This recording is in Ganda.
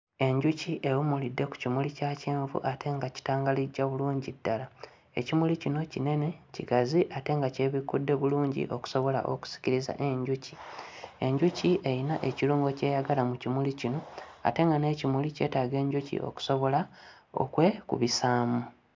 Enjuki ewummulidde ku kimuli kya kyenvu ate nga kitangalijja bulungi ddala. Ekimuli kino kinene kigazi ate nga kyebikkudde bulungi okusobola okusikiriza enjuki. Enjuki eyina ekirungo ky'eyagala mu kimuli kino ate nga n'ekimuli kyetaaga enjuki okusobola okwekubisaamu.